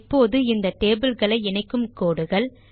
இப்போது இந்த tableகளை இணைக்கும் கோடுகள்